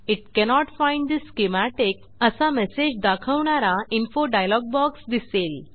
it cannot find the schematic असा message दाखवणारा info dialog box दिसेल